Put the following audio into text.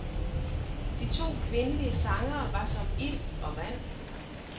De to kvindelige sangere var som ild og vand.